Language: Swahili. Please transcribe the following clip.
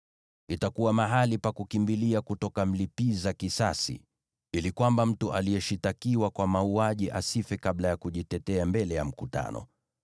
Itakuwa mahali pa kukimbilia kutoka mlipiza kisasi, ili kwamba mtu aliyeshtakiwa kwa mauaji asife kabla ya kujitetea mbele ya mkutano.